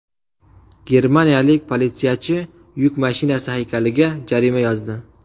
Germaniyalik politsiyachi yuk mashinasi haykaliga jarima yozdi.